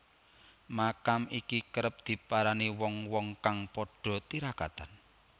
Makam iki kerep diparani wong wong kang padha tirakatan